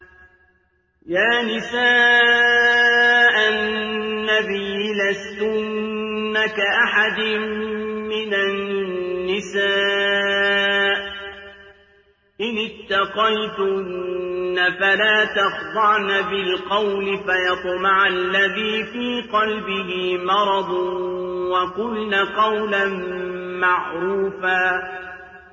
يَا نِسَاءَ النَّبِيِّ لَسْتُنَّ كَأَحَدٍ مِّنَ النِّسَاءِ ۚ إِنِ اتَّقَيْتُنَّ فَلَا تَخْضَعْنَ بِالْقَوْلِ فَيَطْمَعَ الَّذِي فِي قَلْبِهِ مَرَضٌ وَقُلْنَ قَوْلًا مَّعْرُوفًا